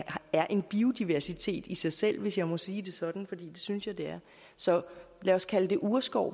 er en biodiversitet i sig selv hvis jeg må sige det sådan for det synes jeg det er så lad os kalde det urskov